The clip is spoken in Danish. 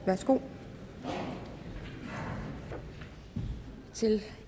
værsgo til